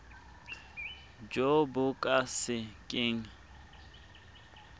jo bo ka se keng